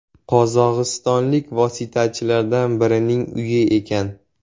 Qozog‘istonlik vositachilardan birining uyi ekan.